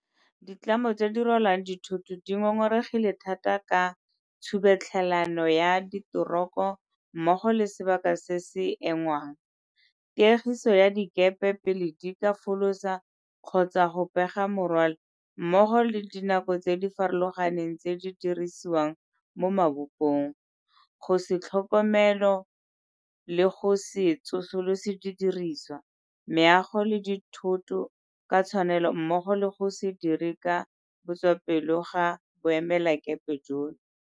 Ditlamo tse di rwalang dithoto di ngongoregile thata ka tshubetlhelano ya diteroko mmogo le sebaka se se engwang, tiegiso ya dikepe pele di ka folosa kgotsa go pega morwalo mmogo le dinako tse di farologaneng tse di dirisiwang mo mabopong, go se tlhokomelo le go se tsosolose didirisiwa, meago le dithoto ka tshwanelo mmogo le go se dire ka botswapelo ga boemelakepe jono.